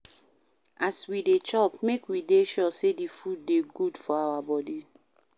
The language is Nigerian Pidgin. As we dey chop, make we dey sure sey di food dey good for our body